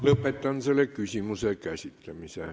Lõpetan selle küsimuse käsitlemise.